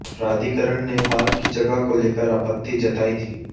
प्राधिकरण ने पार्क की जगह को लेकर आपत्ति जताई थी